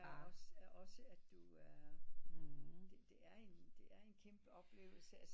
Også at du er det det er en kæmpe oplevelse